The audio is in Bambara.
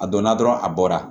A donna dɔrɔn a bɔra